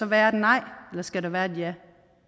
være et nej eller skal der være et ja